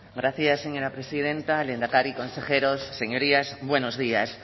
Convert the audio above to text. gracias señora presidenta lehendakari consejeros señorías buenos días